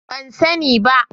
Ban sani ba.